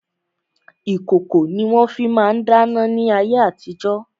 Ìkòkò ni wọ́n fi ma ń dáná ní ayé àtijo.